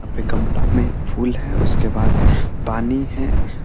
यहाँ पे गलमा में फूल है उसके बाद पानी है।